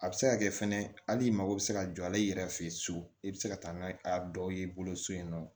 A bɛ se ka kɛ fɛnɛ hali i mago bɛ se ka jɔ a la i yɛrɛ fɛ ye so i bɛ se ka taa n'a ye a dɔw y'i bolo so in nɔ